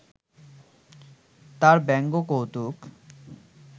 তাঁর ব্যঙ্গকৌতুক